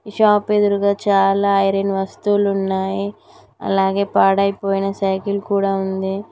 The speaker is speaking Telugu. షాప్ ఎదురుగా చాలా ఐరన్ వస్తువులు ఉన్నాయి అలాగే పాడైపోయిన సైకిల్ కూడా ఉంది.